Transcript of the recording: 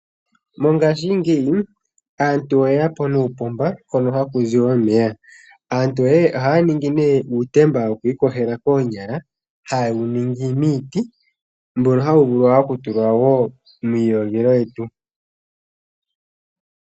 Mongashingeyi aantu oye ya po nuupomba hoka haku zi omeya. Aantu oya ningi nduno uutemba woku iyogela koonyala hawu ningwa miiti, mboka hawu vulu wo okutulwa muu iyogelo wetu.